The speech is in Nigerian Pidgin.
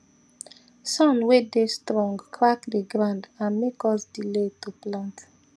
sun way dey strong crack the ground and make us delay to plant